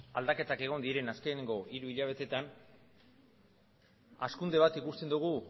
aldaketak egon diren azkeneko hiru hilabetetan hazkunde bat ikusten dugu